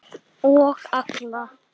Og alla.